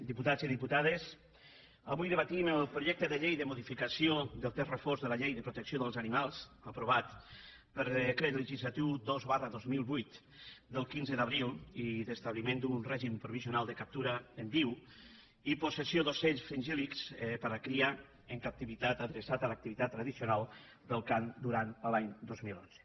diputats i diputades avui debatem el projecte de llei de modificació del text refós de la llei de protecció dels animals aprovat per decret legislatiu dos dos mil vuit del quinze d’abril i d’establiment d’un règim provisional de captura en viu i possessió d’ocells fringíltat tradicional del cant durant l’any dos mil onze